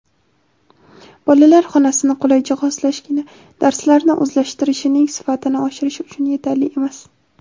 bolalar xonasini qulay jihozlashgina darslarni o‘zlashtirishining sifatini oshirish uchun yetarli emas.